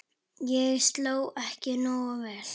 Ég sló ekki nógu vel.